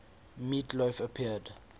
meat loaf appeared